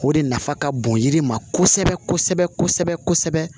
O de nafa ka bon yiri ma kosɛbɛ kosɛbɛ